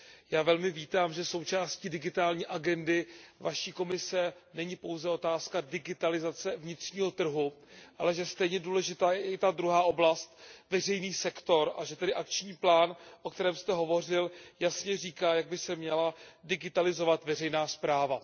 Já velmi vítám, že součástí digitální agendy vaší Komise není pouze otázka digitalizace vnitřního trhu, ale že stejně důležitá je i ta druhá oblast, veřejný sektor, a že tedy akční plán, o kterém jste hovořil, jasně říká, jak by se měla digitalizovat veřejná správa.